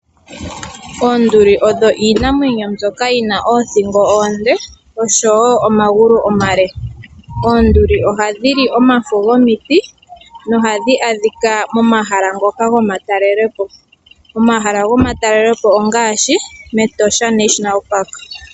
Oonduli odho iinamwenyo mbyoka yina oothingo oonde noshowoq omagulu omale. Oonduli ohadhili omafo gomiti nohadhi adhika momahala ngoka gomatalelelopo. Omahala gomatalelepo ongaashi Etosha Nationala Park.